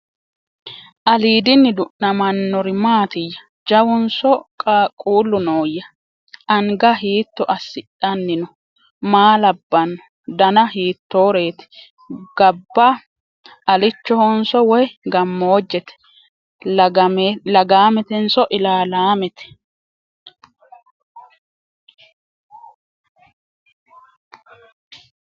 Aliddinni du'nammannori maattiya? Jawunso qaaqullu nooya? Anga hiitto asidhanni noo? Maa labbanno? Danna hittoreetti? Gabba alichohonso woyi gamoojjette? Lagaametenso ilaalaamette?